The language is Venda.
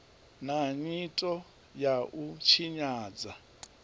na nyito ya u tshinyadza